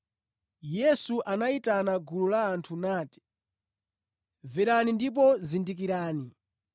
Yesu anayitana gulu la anthu nati, “Mverani ndipo zindikirani.